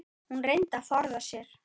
Hún reyndi að forða sér.